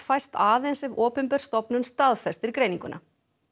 fæst aðeins ef opinber stofnun staðfestir greininguna